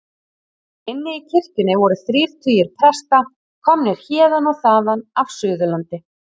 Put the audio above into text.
Inni í kirkjunni voru þrír tugir presta, komnir héðan og þaðan af Suðurlandi.